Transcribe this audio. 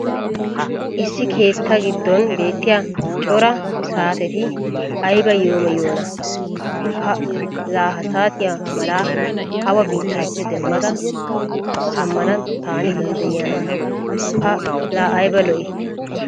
issi keettaa giddon beetiya cora saatetti ayba yeemoyiyoonaa! pa laa ha saatiya mala awa biitaappe demmada sjhamana taani danddayiyaana! pa laa ayba lo'ii!